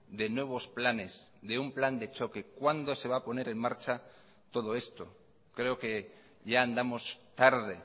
de nuevos planes de un plan de choque cuándo se va a poner en marcha todo esto creo que ya andamos tarde